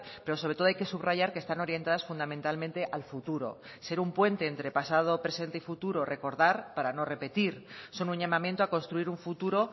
pero sobre todo hay que subrayar que están orientadas fundamentalmente al futuro ser un puente entre pasado presente y futuro recordar para no repetir son un llamamiento a construir un futuro